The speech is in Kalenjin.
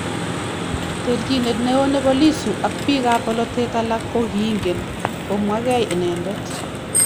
Terchinet neo nebo Lissu ak biik ab bolotet alaak ko kiingen komwagei inendet